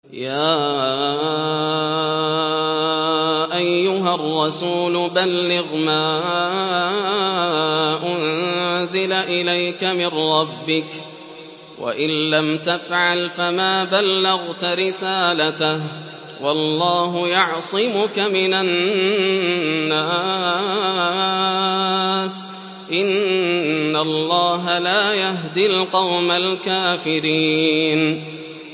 ۞ يَا أَيُّهَا الرَّسُولُ بَلِّغْ مَا أُنزِلَ إِلَيْكَ مِن رَّبِّكَ ۖ وَإِن لَّمْ تَفْعَلْ فَمَا بَلَّغْتَ رِسَالَتَهُ ۚ وَاللَّهُ يَعْصِمُكَ مِنَ النَّاسِ ۗ إِنَّ اللَّهَ لَا يَهْدِي الْقَوْمَ الْكَافِرِينَ